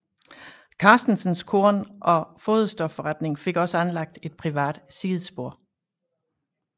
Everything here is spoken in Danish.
Carstensens Korn og Foderstofforretning fik også anlagt et privat sidespor